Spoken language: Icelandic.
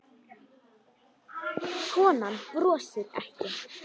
Konan brosir ekki.